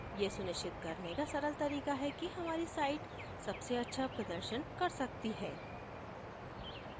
ये सुनिश्चित करने का सरल तरीका है कि हमारी site सबसे अच्छा प्रदर्शन कर सकती है